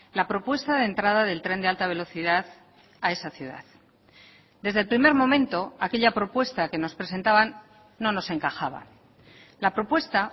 la propuesta de entrada del tren de alta velocidad a esa ciudad desde el primer momento aquella propuesta que nos presentaban no nos encajaba la propuesta